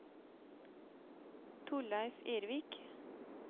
Torleiv Ervik